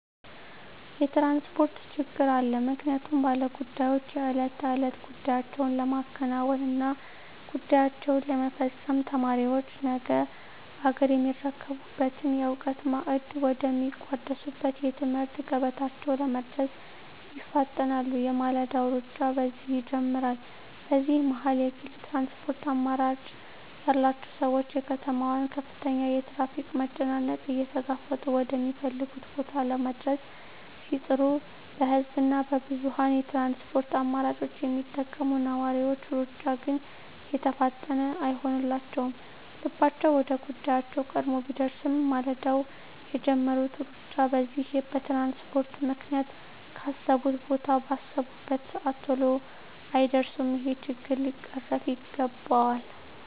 የትራንስፖርት ችግር አለ ምክንያቱም ባለ ጉዳዮች የእለት ተእለት ጉዳያቸዉን ለማከናወን እና ጉዳያቸዉን ለመፈፀም፣ ተማሪዎች ነገ አገርየሚረከቡበትን የእዉቀት ማዕድ ወደ ሚቋደሱበት የትምህርት ገበታቸዉ ለመድረስ ይፋጠናሉ የማለዳዉ ሩጫ በዚህ ይጀምራል በዚህ መሀል የግል ትራንስፖርት አማራጭ ያላቸዉ ሰዎች የከተማዋን ከፍተኛ የትራፊክ መጨናነቅ እየተጋፈጡ ወደ ሚፈልጉት ቦታ ለመድረስ ሲጥሩ በህዝብ እና በብዙኀን የትራንስፖርት አማራጮች የሚጠቀሙ ነዋሪዎች ሩጫ ግን የተፋጠነ አይሆንላቸዉም ልባቸዉ ወደ ጉዳያቸዉ ቀድሞ ቢደርስም ማልደዉ የጀመሩት ሩጫ በዚህ በትራንስፖርት ምክንያት ካሰቡት ቦታ ባሰቡበት ሰአት ተሎ አይደርሱም ይሄ ችግር ሊቀረፍ ይገባል